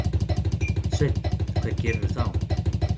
Sveinn: Hvað gerirðu þá?